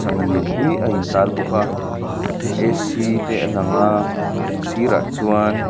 sana lian pui a in tar bawk a A_C te a lang a a sirah chuan --